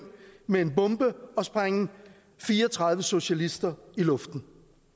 med en bombe og sprænge fire og tredive socialister i luften